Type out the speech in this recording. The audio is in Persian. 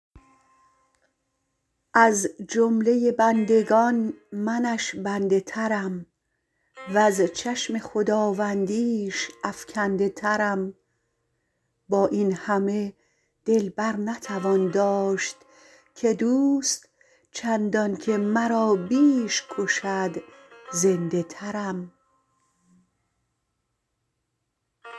از جمله بندگان منش بنده ترم وز چشم خداوندیش افکنده ترم با این همه دل بر نتوان داشت که دوست چندانکه مرا بیش کشد زنده ترم